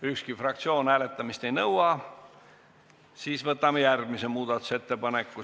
Ükski fraktsioon hääletamist ei nõua, seega võtame järgmise muudatusettepaneku.